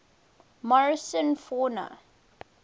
morrison fauna